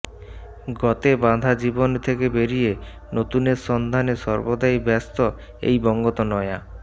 গতে বাধা জীবন থেকে বেরিয়ে নতুনের সন্ধানে সর্বদাই ব্যস্ত এই বঙ্গতনয়া